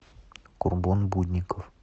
курбон будников